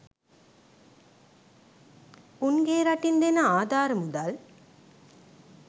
උන්ගෙ රටින් දෙන ආධාර මුදල්